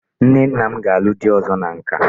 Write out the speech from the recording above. Nne nna m ga-alụ di ọzọ na nka.